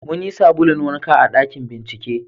mun yi sabulun wanka a ɗakin bincike